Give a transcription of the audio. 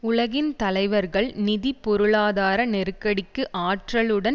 உலகின் தலைவர்கள் நிதி பொருளாதார நெருக்கடிக்கு ஆற்றலுடன்